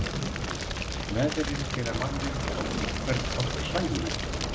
Veðrin gera manninn á einhvern hátt hlægilegan.